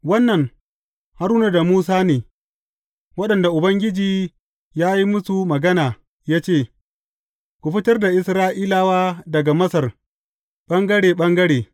Wannan Haruna da Musa ne, waɗanda Ubangiji ya yi musu magana ya ce, Ku fitar da Isra’ilawa daga Masar ɓangare ɓangare.